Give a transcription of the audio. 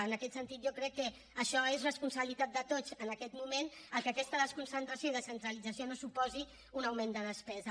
en aquest sentit jo crec que això és responsabilitat de tots en aquest moment que aquesta desconcentració i descentralització no suposin un augment de despesa